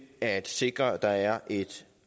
at sikre at der er et